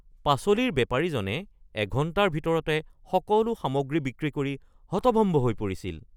পাচলিৰ বেপাৰীজনে এঘণ্টাৰ ভিতৰতে সকলো সামগ্ৰী বিক্ৰী কৰি হতভম্ব হৈ পৰিছিল।